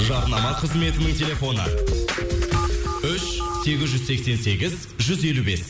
жарнама қызметінің телефоны үш сегіз жүз сексен сегіз жүз елу бес